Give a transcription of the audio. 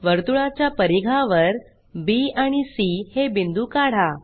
वर्तुळाच्या परीघावर बी आणि सी हे बिंदू काढा